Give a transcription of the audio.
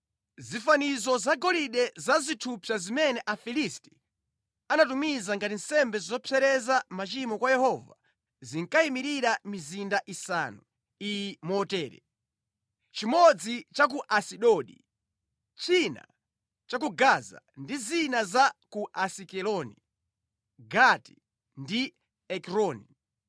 Zifanizo zagolide za zithupsa zimene Afilisti anatumiza ngati nsembe zopepesera machimo kwa Yehova zinkayimirira mizinda isanu iyi motere: chimodzi cha ku Asidodi, china cha ku Gaza ndi zina za ku Asikeloni, Gati ndi Ekroni.